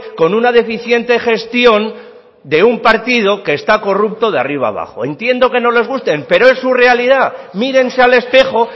con una deficiente gestión de un partido que está corrupto de arriba abajo entiendo que no les guste pero es su realidad mírense al espejo